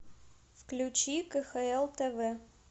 включи кхл тв